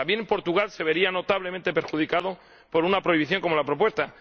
también Portugal se vería notablemente perjudicado por una prohibición como la propuesta